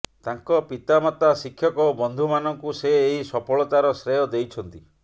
ତାଙ୍କ ପିତା ମାତା ଶିକ୍ଷକ ଓ ବନ୍ଧୁମାନଙ୍କୁ ସେ ଏହି ସଫଳତାର ଶ୍ରେୟ ଦେଇଛନ୍ତି